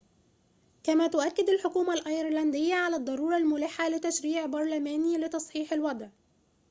كما تؤكّد الحكومة الأيرلندية على الضرورة الملحّة لتشريعٍ برلمانيٍ لتصحيح الوضع